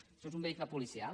això és un vehicle policial